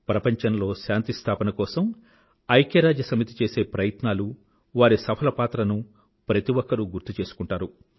ప్రపంచంలో శాంతి స్థాపన కోసం ఐక్యరాజ్యసమితి చేసే ప్రయత్నాలు వారి సఫల పాత్రనూ ప్రతి ఒక్కరూ గుర్తు చేసుకుంటారు